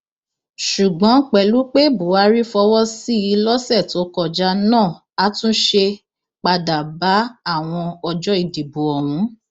ni ọba bá ní kí wọn pè é wá nígbà tó ṣì débẹ ó ní kó rojọ kóun gbọ